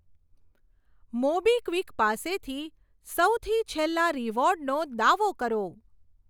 MobiKwik પાસેથી સૌથી છેલ્લા રીવોર્ડનો દાવો કરો.